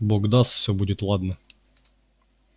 бог даст все будет ладно